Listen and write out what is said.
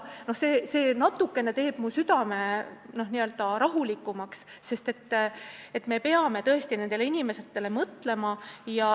See teeb mu südame natuke rahulikumaks, et me peame tõesti nendele inimestele mõtlema.